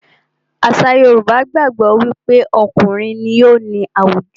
Àṣà Yorùbá gbàgbó wí pé okùnrin ní o ní àwùjọ.